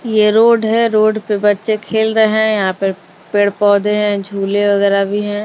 ये रोड है रोड पे बच्चे खेल रहे हैं यहां पर पेड़-पौधे हैं झूले वगैरह भी हैं।